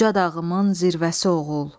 Uca dağıımın zirvəsi oğul.